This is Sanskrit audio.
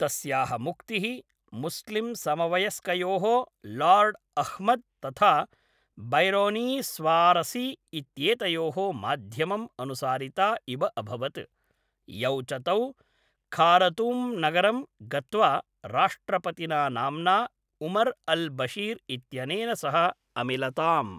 तस्याः मुक्तिः मुस्लिम्समवयस्कयोः लार्ड् अह्मद् तथा बैरोनीस्वारसी इत्येतयोः माध्यमम् अनुसारिता इव अभवत्, यौ च तौ खारतूम्नगरं गत्वा राष्ट्रपतिना नाम्ना उमर् अल् बशीर् इत्यनेन सह अमिलताम्।